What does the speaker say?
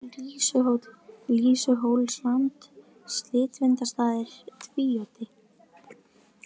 Lýsuhóll, Lýsuhólsland, Slitvindastaðir, Tvíoddi